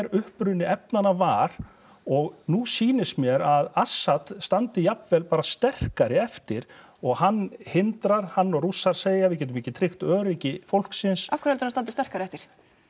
uppruni efnanna var og nú sýnist mér að Assad standi jafnvel bara sterkari eftir og hann hindrar hann og Rússar segja við getum ekki tryggt öryggi fólksins af hverju heldurðu hann standi sterkari eftir